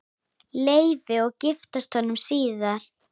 Leifi og giftast honum síðar.